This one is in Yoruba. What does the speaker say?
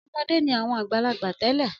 Ọmọdé ni àwọn àgbàlagbà tẹ́lẹ̀.